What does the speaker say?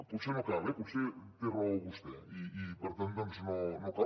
potser no cal eh potser té raó vostè i per tant doncs no cal